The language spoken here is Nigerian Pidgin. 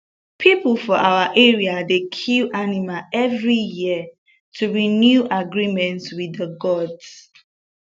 people for our area dey kill animal every year to renew agreement with the gods